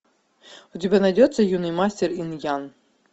у тебя найдется юный мастер инь ян